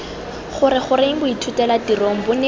gore goreng boithutelatirong bo ne